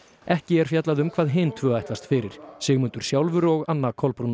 ekki er fjallað um hvað hin tvö ætlast fyrir Sigmundur sjálfur og Anna Kolbrún